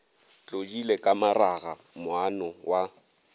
tlodile ka maraga moana wa